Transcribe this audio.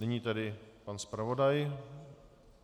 Nyní tedy pan zpravodaj.